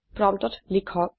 প্ৰম্পটত লিখক